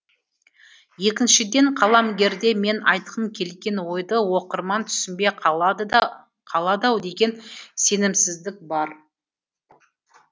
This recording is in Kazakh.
екіншіден қаламгерде мен айтқым келген ойды оқырман түсінбей қалады ау деген сенімсіздік бар